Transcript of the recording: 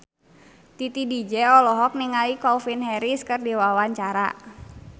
Titi DJ olohok ningali Calvin Harris keur diwawancara